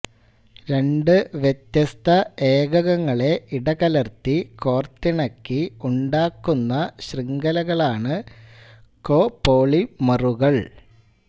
രണ്ട് വ്യത്യസ്ത ഏകകങ്ങളെ ഇടകലർത്തി കോർത്തിണക്കി ഉണ്ടാക്കുന്ന ശൃംഖലകളാണ് കോപോളിമറുകൾ